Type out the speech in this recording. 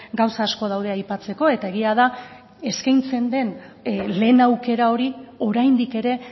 gauza asko daude aipatzeko eta egia da eskaintzen den lehen aukera hori oraindik ere